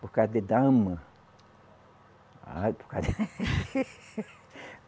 Por causa de dama. Ah por causa de